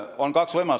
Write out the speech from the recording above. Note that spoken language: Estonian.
On kaks võimalust.